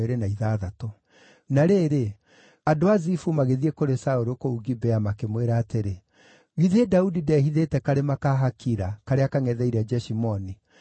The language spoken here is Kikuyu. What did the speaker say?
Na rĩrĩ, andũ a Zifu magĩthiĩ kũrĩ Saũlũ kũu Gibea makĩmwĩra atĩrĩ, “Githĩ Daudi ndehithĩte karĩma ka Hakila, karĩa kangʼetheire Jeshimoni?”